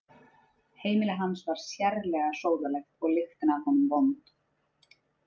Heimili hans var sérlega sóðalegt og lyktin af honum vond.